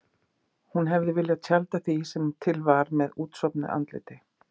Hún hefði viljað tjalda því sem til var með útsofnu andliti.